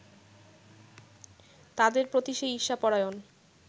তাদের প্রতি সে ঈর্ষাপরায়ণ